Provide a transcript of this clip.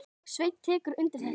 Sveinn tekur undir þetta.